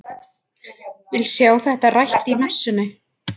Vil sjá þetta rætt í messunni!